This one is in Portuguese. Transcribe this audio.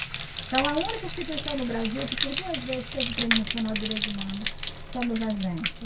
Então, a única instituição no Brasil que por duas vezes teve o Prêmio Nacional de Direitos Humanos fomos a gente.